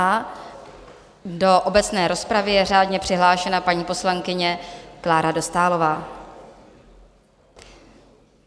A do obecné rozpravy je řádně přihlášena paní poslankyně Klára Dostálová.